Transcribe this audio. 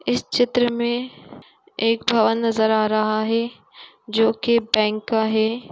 इस चित्र में एक भवन नजर आ रहा है जो कि बैंक का है।